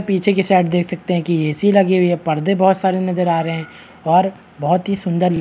पीछे की साइड देख सकते हैं कि ए.सी. लगे हुई है पर्दे बहुत सारे नज़र आ रहें हैं और बहुत ही सुन्दर य --